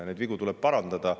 Neid vigu tuleb parandada.